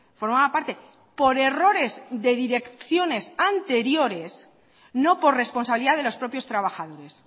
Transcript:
formaba parte por errores de direcciones anteriores no por responsabilidad de los propios trabajadores